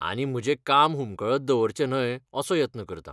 आनी म्हजें काम हुमकळत दवरचें न्हय असो यत्न करतां.